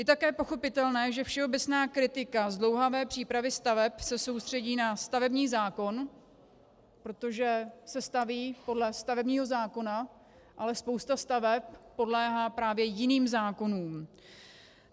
Je také pochopitelné, že všeobecná kritika zdlouhavé přípravy staveb se soustředí na stavební zákon, protože se staví podle stavebního zákona, ale spousta staveb podléhá právě jiným zákonům.